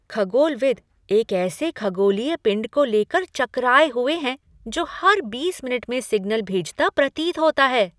खगोलविद एक ऐसे खगोलीय पिंड को लेकर चकराए हुए हैं जो हर बीस मिनट में सिग्नल भेजता प्रतीत होता है।